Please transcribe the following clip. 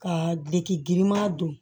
Ka biriki girinma don